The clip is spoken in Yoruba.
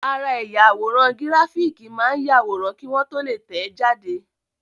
Ara ẹ̀yà àwòrán gíráfìkì máa ń yàwòrán kí wọ́n tó lè tẹ̀ẹ́ jáde